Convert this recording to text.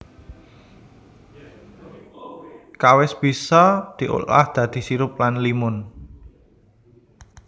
Kawis bisa diolah dadi sirup lan limun